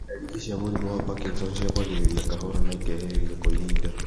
Ndariri cia mũrimũ wa Parkinson ciambagĩrĩria kahora na ikehĩrĩria kwa ihinda